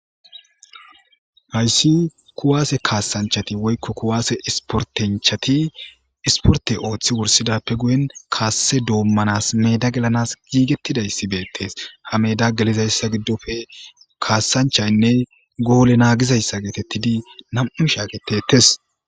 hayssi kuwaase kaassanchati woykko kuwaase isportenchati isporte ooththi wursidappe guyen kaasse doommanas meeda gelanas giigettidayssi beettes ha meeda gelizayssa giddofe kaassanchaynne goole naagizayssa geetettidi nam7u shaagetettes